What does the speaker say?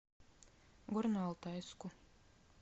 горно алтайску